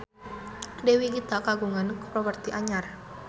Dewi Gita kagungan properti anyar